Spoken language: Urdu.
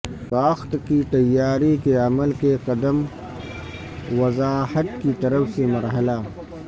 ساخت کی تیاری کے عمل کے قدم وضاحت کی طرف سے مرحلہ